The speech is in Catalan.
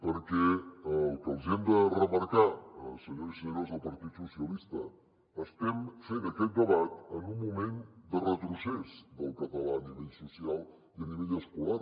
perquè el que els hi hem de remarcar senyors i senyores del partit socialistes estem fent aquest debat en un moment de retrocés del català a nivell social i a nivell escolar